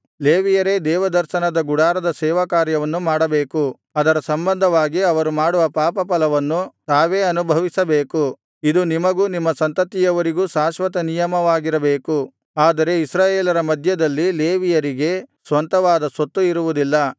ಲೇವಿಯರೇ ದೇವದರ್ಶನದ ಗುಡಾರದ ಸೇವಾಕಾರ್ಯವನ್ನು ಮಾಡಬೇಕು ಅದರ ಸಂಬಂಧವಾಗಿ ಅವರು ಮಾಡುವ ಪಾಪಫಲವನ್ನು ತಾವೇ ಅನುಭವಿಸಬೇಕು ಇದು ನಿಮಗೂ ನಿಮ್ಮ ಸಂತತಿಯವರಿಗೂ ಶಾಶ್ವತ ನಿಯಮವಾಗಿರಬೇಕು ಆದರೆ ಇಸ್ರಾಯೇಲರ ಮಧ್ಯದಲ್ಲಿ ಲೇವಿಯರಿಗೆ ಸ್ವಂತವಾದ ಸ್ವತ್ತು ಇರುವುದಿಲ್ಲ